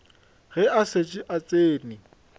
ge a šetše a tsene